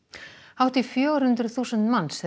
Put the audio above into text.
hátt í fjögur hundruð þúsund manns